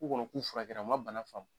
K'u kɔnɔ k'u furakɛra ma bana faamu.